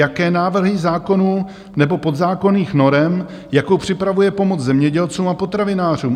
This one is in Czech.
Jaké návrhy zákonů nebo podzákonných norem, jakou připravuje pomoc zemědělcům a potravinářům?